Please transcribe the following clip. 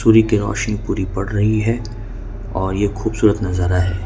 रोशनी पूरी पड़ रही है और ये खूबसूरत नजारा है।